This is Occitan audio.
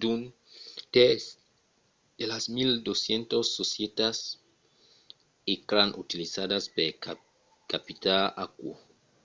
d'un tèrç de las 1200 societats ecran utilizadas per capitar aquò